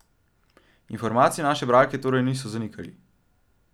Informacij naše bralke torej niso zanikali.